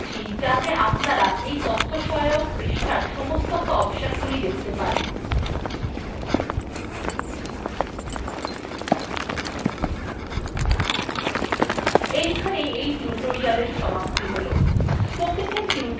আমি উপরে scroll করছি যাতে আপনারা এই তথ্যসহায়ক পৃষ্ঠার সমস্ত অপশনগুলি দেখতে পারেন